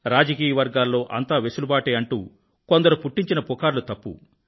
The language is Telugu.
రాజకీయ వర్గాల్లో అంతా వెసులుబాటే అంటూ కొందరు పుట్టించిన పుకార్లు తప్పు